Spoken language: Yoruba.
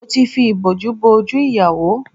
Mo ti fi ìbòjú bo ojú ìyàwó